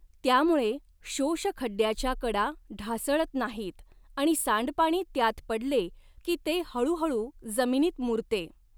त्यामुळे शोषखड्ड्याच्या कडा ढासळत नाहीत आणि सांडपाणी त्यात पडले की ते हळूहळू जमिनीत मुरते.